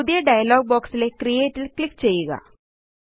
പുതിയ ഡയലോഗ് ബൊക്സിലെ ക്രിയേറ്റ് ല് ക്ലിക്ക് ചെയ്യുക